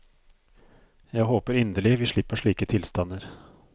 Jeg håper inderlig vi slipper slike tilstander.